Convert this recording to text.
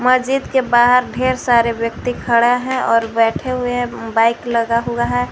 मस्जिद के बाद ढेर सारे व्यक्ति खड़े है और बैठे हुए हैं बाइक लगा हुआ है।